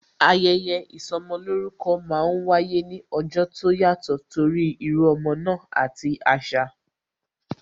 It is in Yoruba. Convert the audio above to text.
Ayẹyẹ ìsọmolórúkọ máa ń wáyé ní ọjọ́ tó yàtò torí írú ọmọ náà àti asa